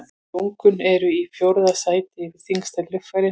Lungun eru í fjórða sæti yfir þyngstu líffærin.